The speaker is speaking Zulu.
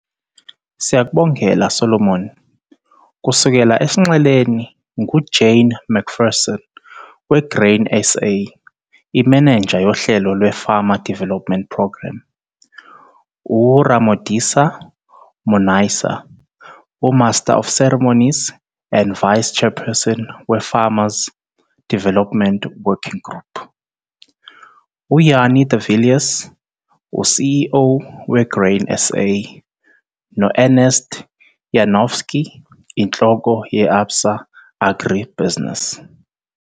Siyakubongela Solomon, kusuka esinxeleni, nguJane McPherson, weGrain SA- Iminenja yoHlelo lwe-Farmer Development Programme, uRamodisa Monaisa, uMaster of Ceremonies and Vice-chairperson we-Farmer Development Working Group, uJannie de Villiers, u-CEO- we-Grain SA, no-Ernst Janovsky, Inhloko- ye-Absa AgriBusiness.